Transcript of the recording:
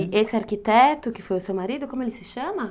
E esse arquiteto que foi o seu marido, como ele se chama?